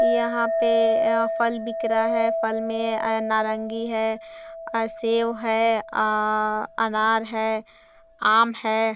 यहाँ पे फल बिक रहा है फल में अ नारंगी है अ सेब है अ_अ अनार है आम है।